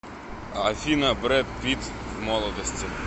афина брэд питт в молодости